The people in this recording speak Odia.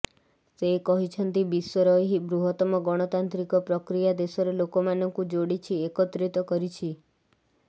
ସେ କହିଛନ୍ତି ବିଶ୍ୱର ଏହି ବୃହତ୍ତମ ଗଣତାନ୍ତ୍ରିକ ପ୍ରକ୍ରିୟା ଦେଶର ଲୋକମାନଙ୍କୁ ଯୋଡିଛି ଏକତ୍ରିତ କରିଛି